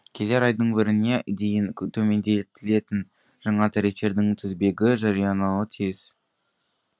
келер айдың біріне дейін төмендетілетін жаңа тарифтердің тізбегі жариялануы тиіс